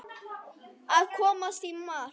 Að komast í mark